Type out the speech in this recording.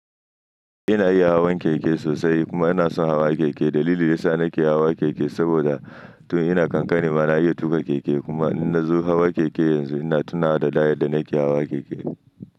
Ina iya hawan keke sosai kuma ina son hawa keke. Dalili yasa nake hawa keke saboda to ina kankani ma na iya tuƙa keke kuma in na zo hawa keke yanzu ina tunawa da da yadda nake hawa keke.